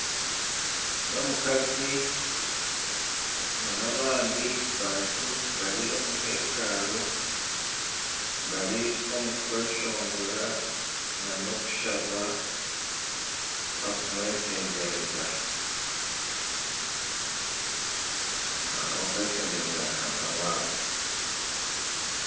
N'omukazi nana abandi bantu abari omu hekalu bari omu kweshongora nana okushaba barikumweshengyereza, barikweshengyereza Ruhanga waabo.